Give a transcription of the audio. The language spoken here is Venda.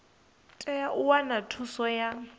tea u wana thuso ya